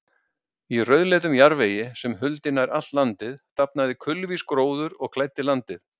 Í rauðleitum jarðvegi, sem huldi nær allt landið, dafnaði kulvís gróður og klæddi landið.